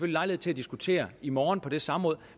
lejlighed til at diskutere i morgen på det samråd